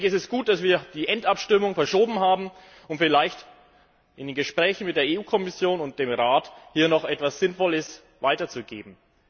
Es ist gut, dass wir die Schlussabstimmung verschoben haben, um vielleicht in den Gesprächen mit der EU Kommission und dem Rat hier noch etwas Sinnvolles weiterzugeben.